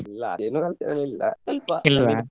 ಇಲ್ಲಾ ಅದೇನು ಅಂತ ಏನ ಇಲ್ಲಾ ಸ್ವಲ್ಪ